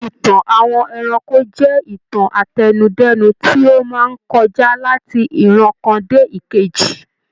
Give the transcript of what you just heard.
Ìtàn àwọn ẹranko jẹ́ ìtàn àtẹnudẹ́nu tí ó máa ń kọjá láti ìran kan dé ìkejì.